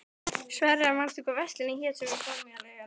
Sverre, manstu hvað verslunin hét sem við fórum í á laugardaginn?